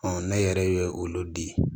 ne yɛrɛ ye olu di